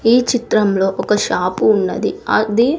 ఈ చిత్రంలో ఒక షాపు ఉన్నది అది--